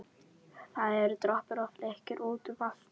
Það eru doppur og flekkir út um allt.